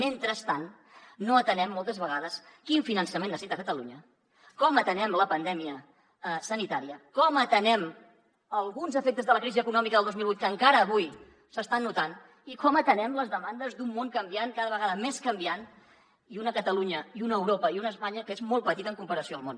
mentrestant no atenem moltes vegades quin finançament necessita catalunya com atenem la pandèmia sanitària com atenem alguns efectes de la crisi econòmica del dos mil vuit que encara avui s’estan notant i com atenem les demandes d’un món canviant cada vegada més canviant i una catalunya i una europa i una espanya que són molt petites en comparació amb el món